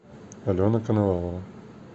алена коновалова